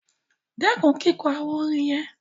Stop singing those chants